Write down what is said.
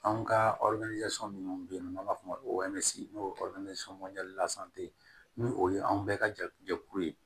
Anw ka minnu bɛ yen n'an b'a f'o ma n'o ye ye ni o ye anw bɛɛ ka jɛkulu ye